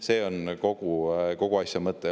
See on kogu asja mõte.